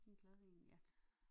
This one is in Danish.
En glad en ja